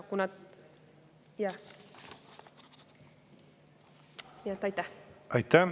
Aitäh!